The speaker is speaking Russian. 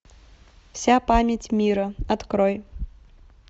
вся память мира открой